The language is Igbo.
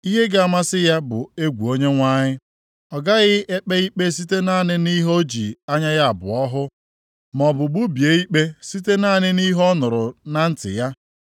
Ihe ga-amasị ya bụ egwu Onyenwe anyị. Ọ gaghị ekpe ikpe site naanị nʼihe o ji anya ya abụọ hụ, maọbụ gbubie ikpe site naanị nʼihe ọ nụrụ na ntị ya.